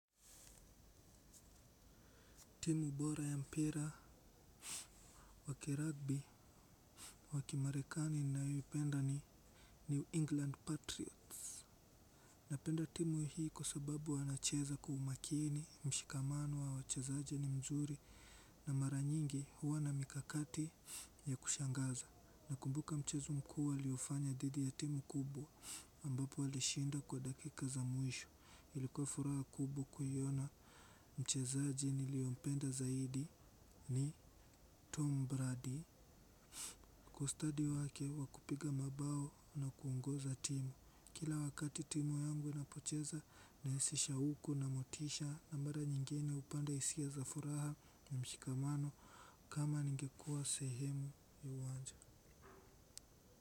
Timu bora ya mpira wa kiragbi wa kimarekani ninayoipenda ni New England Patriots. Napenda timu hii kusababu wanacheza kwa umakini, mshikamano wa wachazaji ni mzuri na mara nyingi huwa na mikakati ya kushangaza. Nakumbuka mchezo mkuu waliofanya dhidi ya timu kubwa ambapo walishinda kwa dakika za mwisho. Ilikuwa furaha kubwa kuiona mchezaji niliyempenda zaidi ni Tom Brady ustadi wake wa kupiga mabao na kuongoza timu, kila wakati timu yangu inapocheza naesesha huko na motisha na mara nyingine upande hisia za furaha na mshikamano kama ningekuwa sehemu ya uwanja.